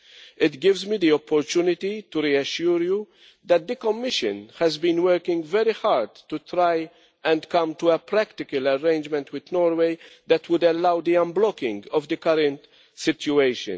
It gives me the opportunity to reassure you that the Commission has been working very hard to try to come to a practical arrangement with Norway which would allow the unblocking of the current situation.